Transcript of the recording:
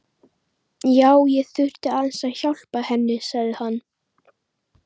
Já, ég þurfti aðeins að. hjálpa henni, sagði hann.